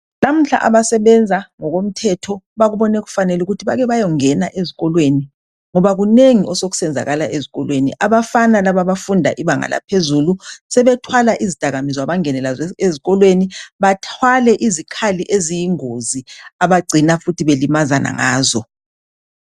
Namhla abasebenza ngoko mthetho bakubone kufanele ukuthi bayongena ezikolweni ngoba kunengi osokusenzakala ezikolweni. Abafana laba abafunda ibanga laphezulu sebethwala izidakaminzwa bangene lazo esikolweni bathwale izikhali eziyingozi abagcina futhi balimazana ngazo.